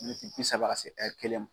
Miniti bi saba ka se ɛri kelen ma.